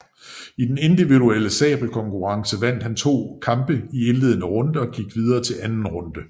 I den individuelle sabelkonkurrence vandt han to kampe i indledende runde og gik videre til anden runde